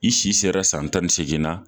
I si sera san tan ni segin na